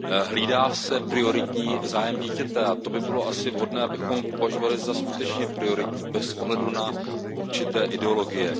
Hlídá se prioritní zájem dítěte, a to by bylo asi vhodné, abychom považovali za skutečně prioritní, bez ohledu na určité ideologie.